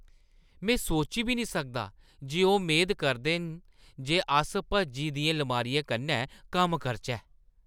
में सोची बी निं सकदा जे ओह् मेद करदे न जे अस भज्जी दियें लमारियें कन्नै कम्म करचै।